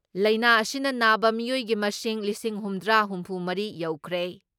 ꯂꯥꯏꯅꯥ ꯑꯁꯤꯅ ꯅꯥꯕ ꯃꯤꯑꯣꯏꯒꯤ ꯃꯁꯤꯡꯅ "ꯂꯤꯁꯤꯡ ꯍꯨꯝꯗ꯭ꯔꯥ ꯍꯨꯝꯐꯨ ꯃꯔꯤ" ꯌꯧꯈ꯭ꯔꯦ꯫